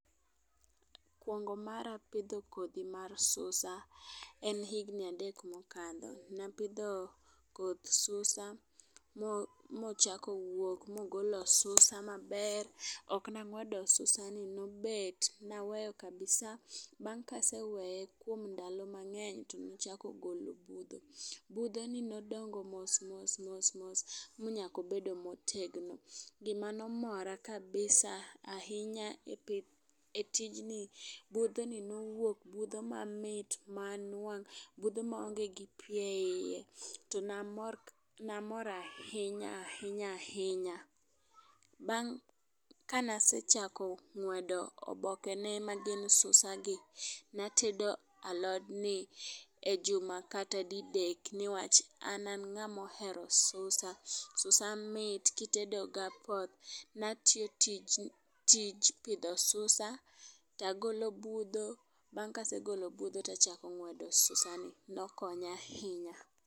Kuongo mara pidho kodhi mar susa, en higni adek mokadho. Napidho koth susa mochako wuok mogolo susa maber ok nang'wedo susa ni nobet naweyo kabisaa. Bang' kaseweye kuom ndalo mang'eny nochako golo budho. Budho ni nodongo mos mos mos mos minyako bedo motegno. Gimanomora kabisa ahinya e pith e tijni budho ni nowuok budho mamit ma nwang' budho maonge gi pii e iye to namor kab namor ahinya ahiyna ahinya . Bang' kanase chako ng'wedo oboke ne ma gin susa gi natedo alod ni e juma kata didek nikceh an ang'amo hero susa .Susa mit kitedo gapoth. Natiyo tij pidho susa tagolo budho bang' kasegolo budho tachako ng'wedo susa ni nokonya ahinya.